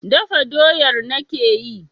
Dafa doyar nake yi.